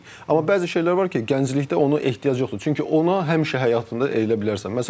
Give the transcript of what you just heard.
Amma bəzi şeylər var ki, gənclikdə ona ehtiyac yoxdur, çünki ona həmişə həyatında eləyə bilərsən.